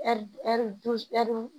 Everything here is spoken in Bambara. Ɛri